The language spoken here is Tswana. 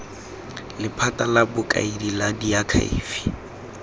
lephata la bokaedi la diakhaefe